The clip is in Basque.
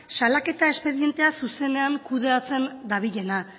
salaketa espedientea zuzenean kudeatzen dabilena